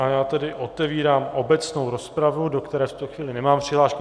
A já tedy otevírám obecnou rozpravu, do které v tuto chvíli nemám přihlášku.